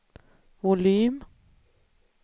volym